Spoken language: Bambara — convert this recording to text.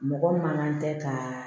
Mɔgɔ man kan tɛ ka